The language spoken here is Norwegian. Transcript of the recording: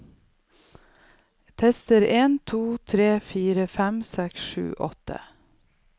Tester en to tre fire fem seks sju åtte